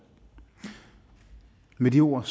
med de ord